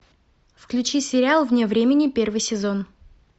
включи сериал вне времени первый сезон